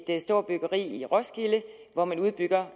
et stort byggeri i roskilde hvor man udbygger